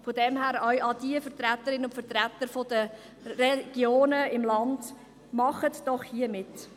Darum sage ich zu den Vertreterinnen und Vertretern der ländlichen Regionen: Machen Sie doch hier mit.